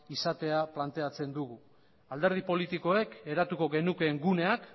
izatea planteatzen dugu alderdi politikoek eratuko genukeen guneak